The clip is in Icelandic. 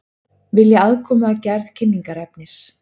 Vilja aðkomu að gerð kynningarefnis